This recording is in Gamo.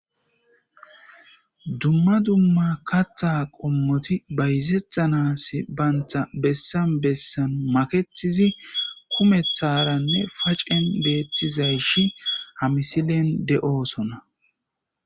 Dumma dumma katha qommoti bayzethanas baynta bessan bessan maketizi kumetharanne facen beetthizayshi hamisilen de'oosonna.